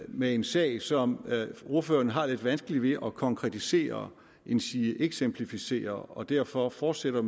med en sag som ordføreren har lidt vanskeligt ved at konkretisere endsige eksemplificere og derfor fortsætter